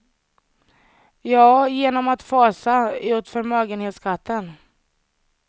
Ja, genom att fasa ut förmögenhetsskatten.